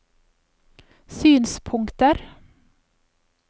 synspunkter